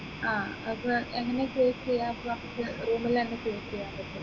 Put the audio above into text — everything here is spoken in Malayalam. ആഹ് അപ്പൊ എങ്ങനെയാ create ചെയ്യാ അപ്പൊ room ലന്നെ create ചെയ്യാൻ പറ്റും